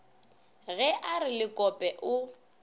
ge a re lekope o